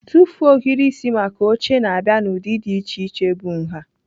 Tụfuo ohiri isi maka oche na-abịa n'ụdị dị iche iche bụ nha.